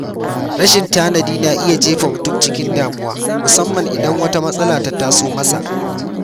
Rashin tanadi na iya jefa mutum cikin damuwa musamman idan wata matsala ta taso masa.